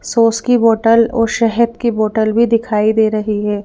सोस की बोतल और शहद की बोतल भी दिखाई दे रही है।